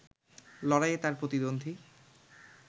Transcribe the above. লড়াইয়ে তাঁর প্রতিদ্বন্দ্বী